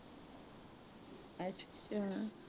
ਅੱਛਾ